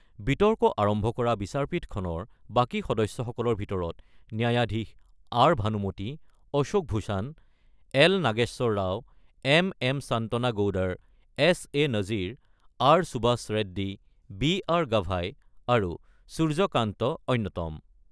বিতৰ্ক আৰম্ভ কৰা বিচাৰপীঠখনৰ বাকী সদস্যসকলৰ ভিতৰত ন্যায়াধীশ R Banumathi, Ashok Bhushan, L Nageswara Rao, M M Shantanagoudar, S A Nazeer , R Subhash Reddy, B R Gavai আৰু সূৰ্য কান্ত অন্যতম।